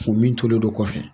U min tolen do kɔfɛ.